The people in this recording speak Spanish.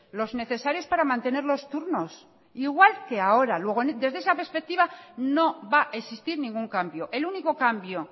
los necesarios para mantener los turnos igual que ahora luego desde esa perspectiva no va a existir ningún cambio el único cambio